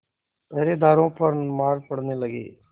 पहरेदारों पर मार पड़ने लगी